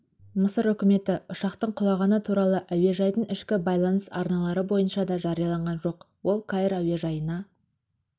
мысыр үкіметі ұшақтың құлағаны туралы әуежайдың ішкі байланыс арналары бойынша да жариялаған жоқ ол каир әуежайына